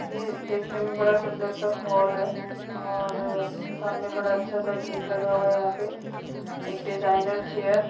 यह देखने में बड़ा सुन्दर सा हॉल है और सामने बड़ा अच्छा सा गेट लगा हुआ है। यहाँ पे एक डिज़ाइनर चेयर --